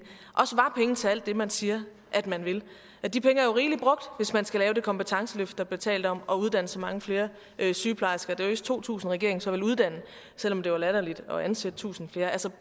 til alt det man siger man vil de penge er jo rigelig brugt hvis man skal lave det kompetenceløft der blev talt om og uddanne så mange flere sygeplejersker det er vist to tusind regeringen så vil uddanne selv om det var latterligt at ansætte tusind flere altså